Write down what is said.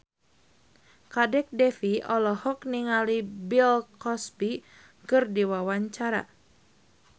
Kadek Devi olohok ningali Bill Cosby keur diwawancara